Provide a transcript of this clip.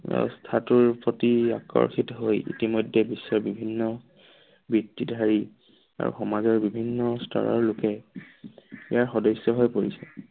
ব্যৱস্থাটোৰ প্ৰতি আকৰ্ষিত হৈ ইতিমধ্যে বিশ্বৰ বিভিন্ন বৃত্তিধাৰী আৰু সমাজৰ বিভিন্ন স্তৰৰ লোকে ইয়াৰ সদস্য হৈ পৰিছে।